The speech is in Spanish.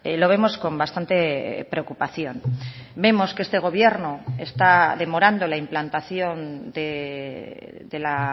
lo vemos con bastante preocupación vemos que este gobierno está demorando la implantación de la